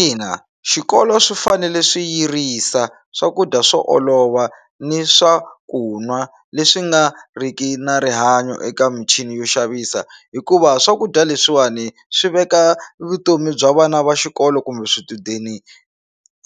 Ina, xikolo swi fanele swi yirisa swakudya swo olova ni swa ku nwa leswi nga riki na rihanyo eka michini yo xavisa hikuva swakudya leswiwani swi veka vutomi bya vana va xikolo kumbe swichudeni